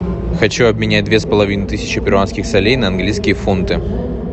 хочу обменять две с половиной тысячи перуанских солей на английские фунты